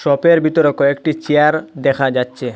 শপের ভিতরে কয়েকটি চেয়ার দেখা যাচ্ছে।